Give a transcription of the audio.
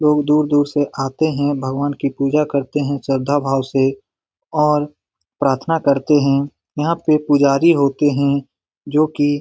लोग दूर-दूर से आते हैं भगवान की पूजा करते हैं श्रद्धा भाव से और प्रार्थना करते है यहाँ पे पुजारी होते है जो कि --